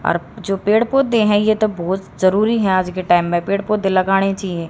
अर जो पेड़ पौधे हैं ये तो बहोत जरूरी है आज के टाइम मे पेड़ पौधे लगाणे चाहिए।